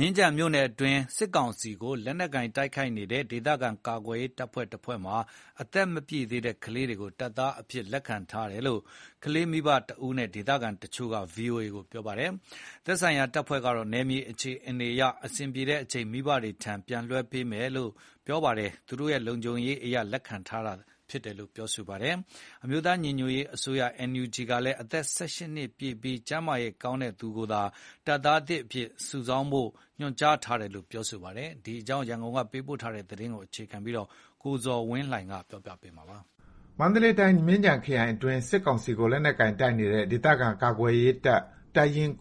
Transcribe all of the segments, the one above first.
မြင်းခြံမြို့နယ်အတွင်း စစ်ကောင်စီကို လက်နက်ကိုင် တိုက်နေတဲ့ ဒေသခံကာကွယ်ရေးတပ်ဖွဲ့ တဖွဲ့မှာ အသက်မပြည့်တဲ့ ကလေးငယ်တွေကို တပ်သားသစ်အဖြစ် လက်ခံထားတယ်ဆိုပြီး ကလေးမိဘတယောက်နဲ့ ဒေသခံတချို့က ဗွီအိုအေကို ပြောပါတယ်။ သက်ဆိုင်ရာ တပ်ဖွဲ့ကတော့ နယ်မြေအခြေအနေအရ အဆင်ပြေတဲ့အချိန် မိဘတွေဆီ လွှဲပြောင်းပေးမှာဖြစ်ပြီး သူတို့ လုံခြုံရေးအရ လက်ခံထားတာဖြစ်တယ်လို့ ပြောပါတယ်။ အမျိုးသား ညီညွတ်ရေးအစိုးရ NUG ကလည်း အသက် ၁၈ နှစ်ပြည့်ပြီး ကျန်းမာရေး ကောင်းတဲ့သူကိုပဲ တပ်သားသစ်အဖြစ်လက်ခံဖို့ ညွှန်ကြားထားတယ်လို့ ပြောဆိုပါတယ်။ ဒီအကြောင်း ရန်ကုန်က သတင်းပေးပို့ထားပါတယ်။ မန္တလေးတိုင်း မြင်းခြံခရိုင်အတွင်း စစ်ကောင်စီကို လက်နက်ကိုင်တပ်နေတဲ့ ဒေသခံ ကာကွယ်ရေးတပ် တပ်ရင်း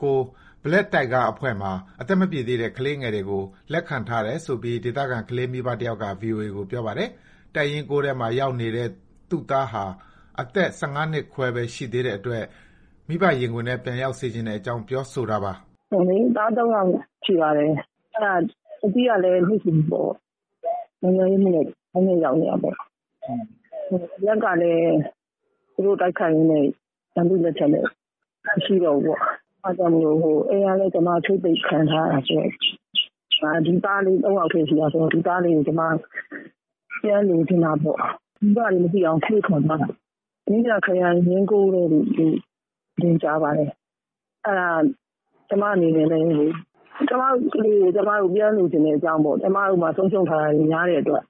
Black Tiger အဖွဲ့မှာ အသက်မပြည့်သေးတဲ့ ကလေးငယ်တွေကို လက်ခံထားတယ်ဆိုပြီး ဒေသခံ ကလေးမိဘတယောက်က ဗွီအိုအေကို ပြောပါတယ်။ တပ်ရင်း ၉ ထဲမှာ ရောက်နေတဲ့ သူ့သားဟာ အသက် ၁၅ နှစ်ခွဲပဲ ရှိသေးတဲ့အတွက် မိဘရင်ခွင်ထဲ ပြန်ရောက်စေချင်တဲအ့ကြောင်း ပြောဆိုတာပါ။ "သား ၃ ယောက်ရှိပါတယ်။ အကြီးကလည်း နိုင်ငံရေးအမှုနဲ့ ထောင်ထဲရောက်နေတာပေါ့။ အလတ်ကလည်း သူတို့ကို တိုက်ခိုက်ရင်းနဲ့ ရန်သူ့လက်ထဲ မရှိတော့ဘူးပေါ့။ အိမ်ကလည်း ကျွန်မ ချိတ်ပိတ်ခံထားရတာဆိုတော့ ဒီသားလေး ၃ ယောက်တည်း ရှိတာဆိုတော့ ဒီသားလေးကို ပြန်လိုချင်တာပေါ့။ မိဘတွေ မသိအောင် ခိုးထွက်သွားတာ။ မြင်းခြံခရိုင် ရင်း ထဲလို့ ကြားပါတယ်။ အဲ့ဒါ ကျွန်မတို့ အနေနဲ့လည်းလေ ကျွန်မတို့ ကလေးကို ကျွန်မတို့ ပြန်လိုချင်တဲ့အကြောင်းပေါ့။ ကျွန်မတို့မှာ ဆုံးရှုံးထားရတာတွေများတဲ့အတွက်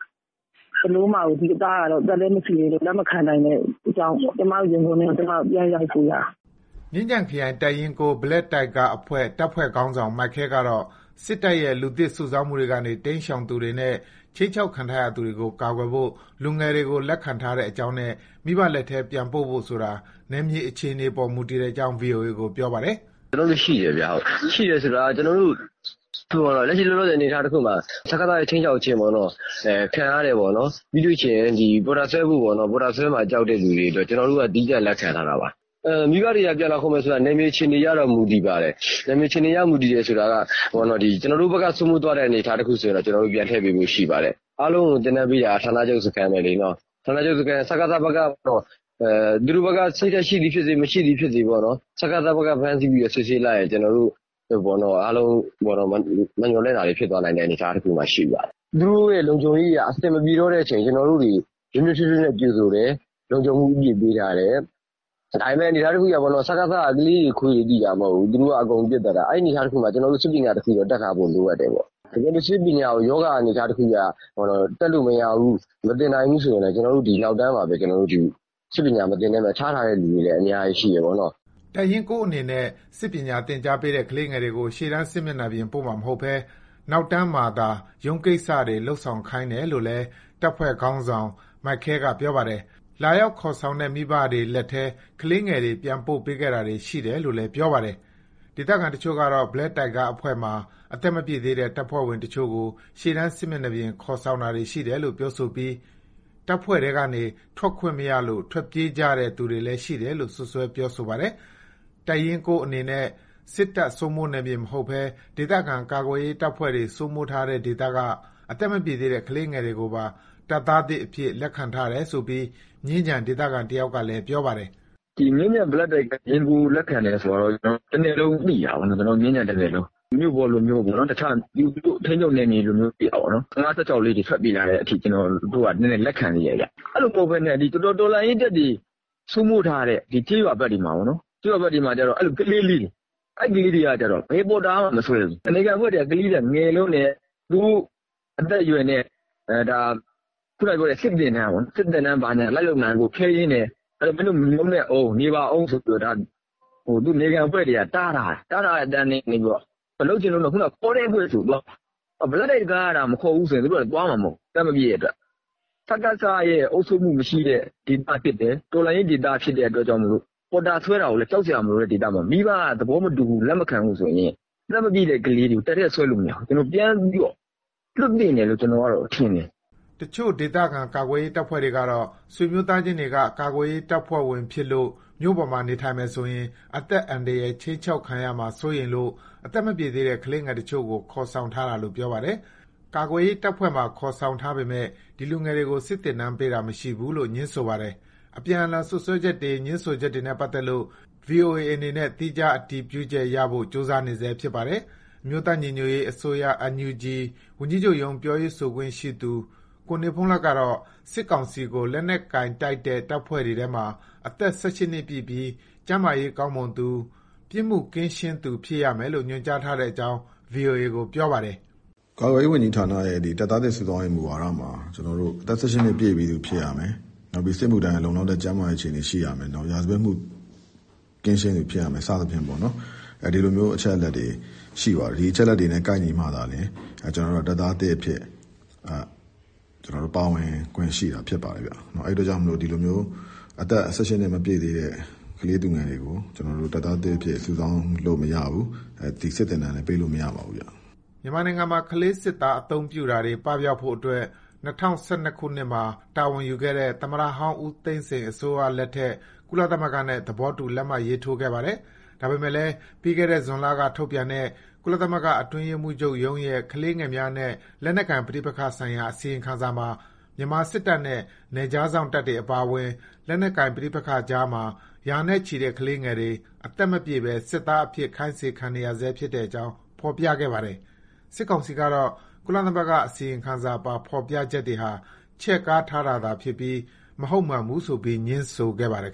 ဒီသားကို အသက်လည်း မပြည်သေး လက်မခံနိုင်တဲ့အတွက်ကြောင့် ကျွန်မတို့ ရင်ခွင်ထဲကို ပြန်ရောက်စေချင်တာ။" မြင်းခြံခရိုင် တပ်ရင်း Black Tiger အဖွဲ့ တပ်ဖွဲ့ ခေါင်းဆောင် မိုက်ခဲ ကတော့ စစ်တပ်ရဲ့ လူသစ် စုဆောင်းမှုတွေကနေ တိမ်းရှောင်သူတွေနဲ့ ခြိမ်းခြောက်ခံထားရသူတွေကို ကာကွယ်ဖို့ လူငယ်တွေကို လက်ခံထားတဲ့အကြောင်းနဲ့ မိဘလက်ထဲ ပြန်ပို့ဖို့ဆိုတာ နယ်မြေအခြေအနေအပေါ် မူတည်တဲ့အကြောင်း ဗွီအိုအေကို ပြောပါတယ်။ "ကျွန်တော်တို့ ရှိတယ်ခင်ဗျ။ ရှိတယ်ဆိုတာက လက်ရှိ လောလောဆယ် အနေအထားမှာ စကစ ရဲ့ ခြိမ်းခြောက်ခြင်းခံရတဲ့၊ ပြီးရင် ပေါ်တာဆွဲခံရတဲ့၊ ပေါ်တာဆွဲမှာ ကြောက်တဲ့ သူတွေကို သီးသန့် လက်ခံထားတာပါ။ မိဘတွေက ပြန်လာခေါ်မယ်ဆိုရင် နယ်မြေအခြေအနေရ မူတည်ပါတယ်။ ကျွန်တော်တို့ဘက်က စိုးမိုးသွားတဲ့ အနေအထား တခုဆိုရင် ကျွန်တော်တို့က ပြန်ထည့်ပေးမယ့် အနေအထားရှိပါတယ်။ အားလုံးကို သင်တန်းပေးတာတော့ ဌာနချုပ် စခန်းပဲပေါ့။ သူတို့ဘက်က စိတ်ဓာတ်ရှိသည် ဖြစ်စေ မရှိသည်ဖြစ်စေ စကစ ဘက်က ဖမ်းဆီးပြီး စစ်ဆေးလိုက်ရင် ကျွန်တော်တို့ အားလုံး မမျှော်လင့်တာတွေ ဖြစ်သွားနိုင်တယ်။ သူတို့ လုံခြုံရေးအရ အဆင်မပြေတဲ့အချိန် ကျွန်တော်တို့ နွေးနွေးထွေးထွေးနဲ့ ကြိုဆိုတယ်။ လုံခြံမှုအပြည့်ပေးထားတယ်။ ဒါပေမယ့် စကစ က ကလေးတွေ ခွေးတွေသိတာမဟုတ်ဘူး။ အကုန်ပစ်သတ်တာဆိုတော့ ကျွန်တော်တို့ စစ်ပညာ တခု တတ်ထားဖို့တော့လိုတယ်။ တကယ်လို့ စစ်ပညာကို ရောဂါ အနေအထားတခုအရ တက်လို့မရဘူး။ မသင်နိုင်ဘူးဆို ကျွန်တော်တို့ နောက်တန်းမှာ ထားထားတဲ့သူတွေ အများကြီးရှိတယ်ပေါ့။" တပ်ရင်း အနေနဲ့ စစ်ပညာသင်ကြားပေးထားတဲ့ ကလေးငယ်တွေကို ရှေ့တန်း စစ်မျက်နှာပြင်ပို့မှာ မဟုတ်ဘဲ နောက်တန်းမှာသာ ရုံးကိစ္စတွေ လုပ်ဆောင်ခိုင်းတယ်လို့ လည်း တပ်ဖွဲ့ခေါင်းဆောင် မိုက်ခဲက ပြောပါတယ်။ လာရောက်ခေါ်ဆောင်တဲ့ မိဘတွေလက်ထဲ ကလေးငယ်တွေ ပြန်ပို့ပေးခဲ့တာတွေ ရှိတယ်လို့လည်း ပြောပါတယ်။ ဒေသခံတချို့ကတော့ Black Tiger အဖွဲ့ မှာ အသက်မပြည့်သေးတဲ့ တပ်ဖွဲ့ဝင်တချို့ကို ရှေ့တန်း စစ်မျက်နှာပြင် ခေါ်ဆောင်တာတွေရှိတယ်လို့ ပြောဆိုပြီး တပ်ဖွဲ့ထဲကနေ ထွက်ခွင့်မရလို့ ထွက်ပြေးကြတဲ့ သူတွေလည်း ရှိတယ်လို့ စွပ်စွဲ ပြောပါတယ်။ တပ်ရင်း အနေနဲ့ စစ်တပ် စိုးမိုးနယ်မြေ မဟုတ်ဘဲ ဒေသခံကာကွယ်ရေးတပ်ဖွဲ့တွေ စိုးမိုးထားတဲ့ ဒေသက အသက်မပြည့်သေးတဲ့ ကလေးငယ်တွေကိုပါ တပ်သားသစ်အဖြစ် လက်ခံထားတယ်ဆိုပြီး မြင်းခြံ ဒေသခံတယောက်က ပြောပါတယ်။ "မြင်းခြံရင်း Black Tiger က လက်ခံတယ်ဆိုတာက တနယ်လုံးသိတာပေါ့နော်။ မြင်းခြံတနယ်လုံး။ မြို့ပေါ်လိုမျိုး ထိန်းချုပ်နယ်မြေက ၁၅-၁၆ လေးတွေဆိုရင်လက်ခံသေးတာပေါ့နော်။ အဲ့လို မဟုတ်ဘဲနဲ့ တော်လှန်ရေးတပ်တွေ စိုးမိုးထားတဲ့ ကျေးရွာဘက်တွေမှာ အဲ့လို ကလေးလေးတွေ အဲ့ကလေးတွေက ဘယ်ပေါ်တာမှ မဆွဲဘူး။ နယ်ခံအဖွဲ့တွေက ကလေးတွေက ငယ်လွန်းတယ်။ အသက်အရွယ်နဲ့ စစ်သင်တန်းဘာညာ လိုက်လုပ်နိုင်ဖို့ ခဲယဉ်းတယ်။ တပ်ထဲဝင်ဖို့ နေပါအုံးဆိုပြီး တားထားတယ်။ အဲ့မှာ လုပ်ချင်လွန်းလို့ ဆိုပြီး ခေါ်တဲ့အဖွဲ့ဆီကိုသွားတယ်။ Black Tiger ကသာ မခေါ်ဘူးဆိုရင် သူတို့က သွားမှာမဟုတ်ဘူး။ အသက်မပြည့်တဲ့အတွက် စကစရဲ့ အုပ်ချုပ်မှု မရှိတဲ့အတွက် ဒေသဖြစ်တယ်။ တော်လှန်ရေး ဒေသဖြစ်တဲ့အတွက် ပေါ်တာ မဆွဲတဲ့ဒေသမှာ မိဘ သဘောမတူ လက်မခံဘူးဆိုရင် အသက်မပြည့်တဲ့ ကလေးတွေကို တပ်ထဲဆွဲလို့မရဘူး။ ပြန်ပြီး လွှတ်သင့်တယ်လို့ထင်တယ်။" တချို့ ဒေသခံ ကာကွယ်ရေးတပ်ဖွဲ့တွေကတော့ ဆွေမျိုးသားချင်းတွေက ကာကွယ်ရေး တပ်ဖွဲ့ဝင်ဖြစ်လို့ မြို့ပေါ်မှာနေထိုင်မယ်ဆိုရင် အသက်အန္တရာယ် ခြိမ်းခြောက်ခံရမှာ စိုးလို့ အသက်မပြည့်သေးတဲ့ ကလေးငယ်အချို့ကို ခေါ်ဆောင်ထားတာလို့ ပြောပါတယ်။ ကာကွယ်ရေး တပ်ဖွဲ့မှာ ခေါ်ဆောင်ထားပေမယ့် ဒီ လူငယ်တွေကို စစ်သင်တန်းပေးတာ မရှိဘူးလို့ ငြင်းဆိုပါတယ်။ အပြန်အလှန်စွပ်စွဲချက်တွေ ငြင်းဆိုချက်တွေနဲ့ ပတ်သက်လို့ ဗွီအိုအေအနေနဲ့ သီးခြား အတည်ပြုချက် ရဖို့ ကြိုးစားနေဆဲဖြစ်ပါတယ်။ အမျိုးသား ညီညွတ်ရေးအစိုးရ NUG ဝန်ကြီးချုပ်ရုံး ပြောရေးဆိုခွင့်ရှိသူ ကိုနေဘုန်းလတ်ကတော့ စစ်ကောင်စီကို လက်နက်ကိုင်တိုက်တဲ့ တပ်ဖွဲ့တွေထဲမှာ အသက် ၁၈ နှစ်ပြည့်ပြီး ကျန်းမာရေးကောင်းမွန်သူ၊ ပြစ်မှုကင်းရှင်းသူ ဖြစ်ရမယ်လို့ ညွှန်ကြားထားတဲ့အကြောင်း ဗွီအိုအေကို ပြောပါတယ်။ "ကာကွယ်ရေးဝန်ကြီးဌာနရဲ့ တပ်သားသစ် စုဆောင်းရေး မူဝါဒမှာ အသက် ၁၈ နှစ် ပြည့်ပြီးသူဖြစ်ရမယ်။ စစ်မှုထမ်းဖို့ လုံလောက်တဲ့ ကျန်းမာရေး ရှိသူဖြစ်ရမယ်။ ရာဇဝတ်မှု ကင်းရှင်းသူ ဖြစ်ရမယ် စသဖြင့် ဒီလို အချက်အလက်တွေရှိပါတယ်။ ဒီလိုကိုက်ညီမှ တပ်သားသစ်အဖြစ် ပါဝင်ခွင့်ရှိတာ ဖြစ်ပါတယ်။ အဲ့အတွက်ကြောင့် အသက် ၁၈ နှစ် မပြည့်သေးတဲ့ ကလေးသူငယ်တွေကို ကျွန်တော်တို့ တပ်သားသစ်အဖြစ် စုဆောင်းလို့မရပါဘူး။ စစ်သင်တန်းလည်း ပေးလို့မရပါဘူး။" မြန်မာနိုင်ငံမှာ ကလေးစစ်သား အသုံးပြုတာတွေ ပပျောက်ဖို့အတွက် ၂၀၁၂ ခုနှစ်မှာတာဝန်ယူခဲ့တဲ့ သမ္မတဟောင်း ဦးသိန်းစိန်အစိုးရလက်ထက် ကုလသမဂ္ဂနဲ့ သဘောတူ လက်မှတ်ရေးထိုးခဲ့ပါတယ်။ ဒါပေမဲ့လည်း ပြီးခဲ့တဲ့ ဇွန်လက ထုတ်ပြန်တဲ့ ကုလသမဂ္ဂ အတွင်းရေးမှူးချုပ်ရဲ့ ကလေးသူငယ်များနဲ့ လက်နက်ကိုင်ပဋိပက္ခဆိုင်ရာ အစီရင်ခံစာမှာ မြန်မာစစ်တပ်နဲ့ နယ်ခြားစောင့်တပ်တွေအပါအဝင် လက်နက်ကိုင် ပဋိပက္ခကြားမှာ ရာနဲ့ချီတဲ့ ကလေးငယ်တွေ အသက်မပြည့်ဘဲ တပ်သားအဖြစ် ခိုင်းစေခံနေရဆဲ ဖြစ်တဲ့အကြောင်း ဖေါ်ပြခဲ့ပါတယ်။ စစ်ကောင်စီကတော့ ကုလသမဂ္ဂ အစီရင်ခံစာပါ ဖေါ်ပြချက်တွေဟာ ချဲ့ကားတာသာဖြစ်ပြီး မဟုတ်မမှန်ဘူးဆိုပြီး ငြင်းဆိုခဲ့ပါတယ်